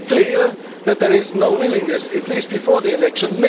It is already clear that there is no willingness, at least before the election.